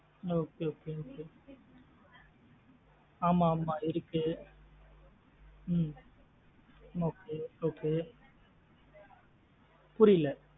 Okay okay ஆமா ஆமா இருக்கு ஹம் okay okay புரியல.